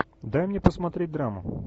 дай мне посмотреть драму